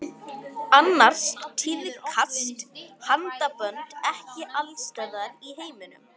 Annars tíðkast handabönd ekki alls staðar í heiminum.